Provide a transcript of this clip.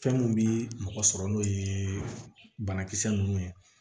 Fɛn mun bi mɔgɔ sɔrɔ n'o ye banakisɛ nunnu ye